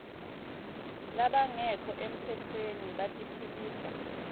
labangekho emtsetfweni batiphilisa